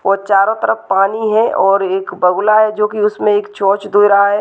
ओ चारों तरफ पानी है और एक बगुला है जो कि उसमें एक चोच दे रहा है।